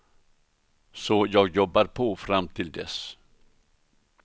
Så jag jobbar på fram till dess.